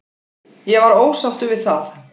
Ég var ósáttur við það.